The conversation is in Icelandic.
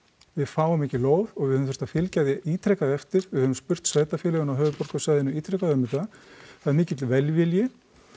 við fáum ekki lóð og við höfum þurft að fylgja því ítrekað eftir við höfum spurt sveitarfélögin á höfuðborgarsvæðinu ítrekað um þetta það er mikill velvilji